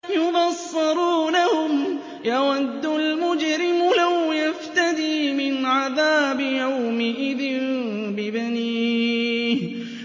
يُبَصَّرُونَهُمْ ۚ يَوَدُّ الْمُجْرِمُ لَوْ يَفْتَدِي مِنْ عَذَابِ يَوْمِئِذٍ بِبَنِيهِ